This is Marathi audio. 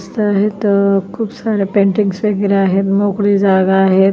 दिसत आहेत खूप सारे पेंटिंग्स वगैरे आहे मोकळी जागा आहे.